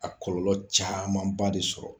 A kɔlɔlɔ caman ba de sɔrɔ